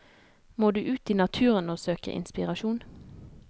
Må du ut i naturen og søke inspirasjon?